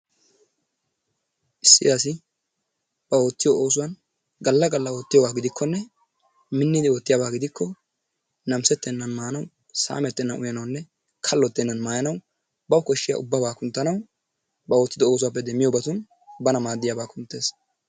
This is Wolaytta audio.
Issi asi ba oottiyoo oosuwaan gaalla galla ottiyoogaa gidikkonne miinnidi oottiyaaba gidikko naamisettenan maanawu saamettenan uuyanawunne kallottenana maayanawu bawu koshshiyaa ubbabaa kunttanawu ba oottido oossuwaappe deemmiyoobatun bana maaddiyaaba kunttees.